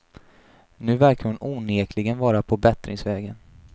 Nu verkar hon onekligen vara på bättringsvägen.